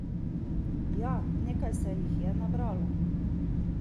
Ja, nekaj se jih je nabralo!